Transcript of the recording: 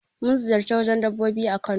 Mun ziƴarci wajen dabbobi a Kano.